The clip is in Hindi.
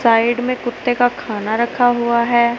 साइड में कुत्ते का खाना रखा हुआ है।